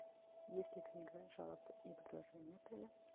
есть ли книга жалоб и предложений отеля